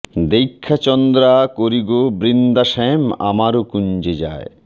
দেইখা চন্দ্ৰা করি গো বৃন্দা শ্যাম আমার কুঞ্জে যায়